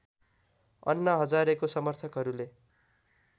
अन्ना हजारेको समर्थकहरूले